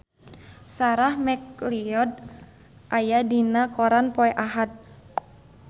Sarah McLeod aya dina koran poe Ahad